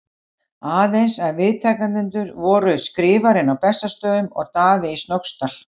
Aðeins að viðtakendur voru Skrifarinn á Bessastöðum og Daði í Snóksdal.